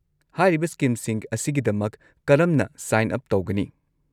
ꯍꯥꯏꯔꯤꯕ ꯁ꯭ꯀꯤꯝꯁꯤꯡ ꯑꯁꯤꯒꯤꯗꯃꯛ ꯀꯔꯝꯅ ꯁꯥꯏꯟ ꯎꯞ ꯇꯧꯒꯅꯤ?